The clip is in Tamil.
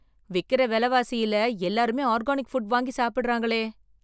விக்கிற விலைவாசியில் எல்லாருமே ஆர்கானிக் ஃபுட் வாங்கி சாப்பிடுகிறாங்களே!